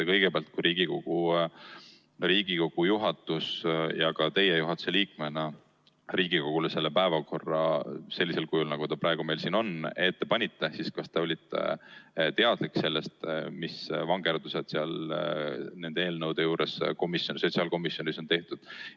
Kõigepealt, kui Riigikogu juhatus ja ka teie juhatuse liikmena Riigikogule selle päevakorra sellisel kujul, nagu ta praegu meil siin on, ette panite, siis kas te olite teadlik, mis vangerdused nende eelnõude juures sotsiaalkomisjonis on tehtud?